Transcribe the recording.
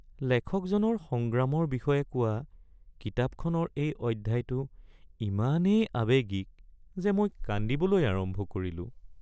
লেখকজনৰ সংগ্ৰামৰ বিষয়ে কোৱা কিতাপখনৰ এই অধ্যায়টো ইমানেই আৱেগিক যে মই কান্দিবলৈ আৰম্ভ কৰিলোঁ।